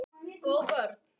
Góð vörn.